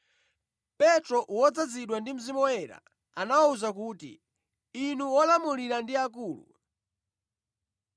Petro wodzazidwa ndi Mzimu Woyera, anawawuza kuti, “Inu olamulira ndi akulu!